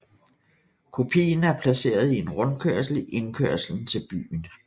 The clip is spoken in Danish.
Kopien er placeret i en rundkørsel i indkørselen til byen